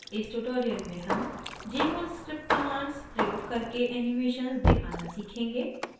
इस tutorial में हम jmol script commands प्रयोग करके animations दिखाना सीखेंगे